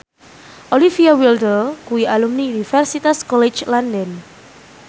Olivia Wilde kuwi alumni Universitas College London